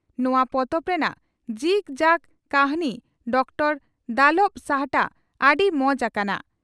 ᱱᱚᱣᱟ ᱯᱚᱛᱚᱵ ᱨᱮᱱᱟᱜ ᱡᱤᱜᱽ ᱡᱟᱜᱽ ᱛᱦᱨᱤ ᱰᱚᱠᱴᱚᱨᱹ ᱫᱟᱞᱚᱵᱽ ᱥᱟᱦᱴᱟ ᱟᱹᱰᱤ ᱢᱟᱡᱽ ᱟᱠᱟᱱᱟ ᱾